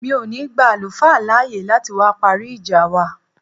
Mi ò ní gba àlùfáà láàyè láti wá parí ìjà wa